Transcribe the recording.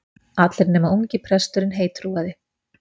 Allir nema ungi presturinn heittrúaði.